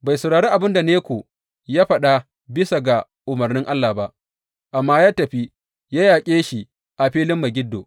Bai saurari abin da Neko ya faɗa bisa ga umarnin Allah ba, amma ya tafi ya yaƙe shi a filin Megiddo.